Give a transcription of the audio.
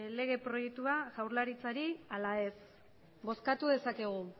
lege proiektua jaurlaritzari ala ez bozkatu dezakegu